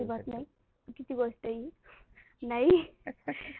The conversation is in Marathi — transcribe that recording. चुकीची गोष्ट हि